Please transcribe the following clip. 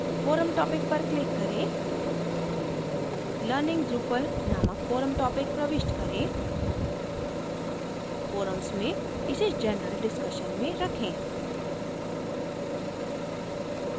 forum topic पर click करें learning drupal नामक forum topic प्रविष्ट करें forums में इसे general discussion में रखें